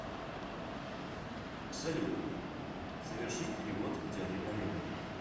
салют совершить перевод дяде олегу